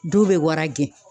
Dɔw bɛ wara gɛn.